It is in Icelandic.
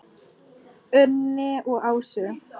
Unni og Ásu.